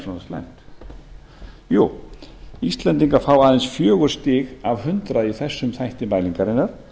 svona slæmt jú íslendingar fá aðeins fjögur stig af hundrað í þessum þætti mælingarinnar